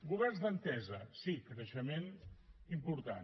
governs d’entesa sí creixement important